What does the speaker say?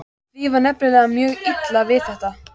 Því var nefnilega mjög illa við þetta.